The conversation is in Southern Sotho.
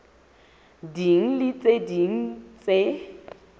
ding le tse ding tse